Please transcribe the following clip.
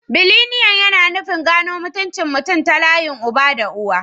Bilineal yana nufin gano mutuncin mutum ta layin uba da uwa.